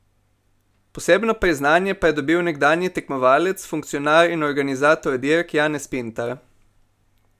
Posebno priznanje pa je dobil nekdanji tekmovalec, funkcionar in organizator dirk Janez Pintar.